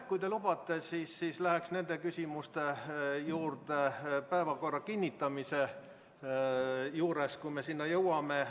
Kui te lubate, siis läheks nende küsimuste juurde päevakorra kinnitamise juures, kui me sinnani jõuame.